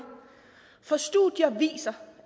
for studier viser